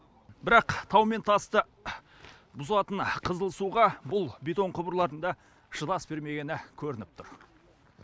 бірақ тау мен тасты бұзатын қызыл суға бұл бетон құбырлардың да шыдас бермегені көрініп тұр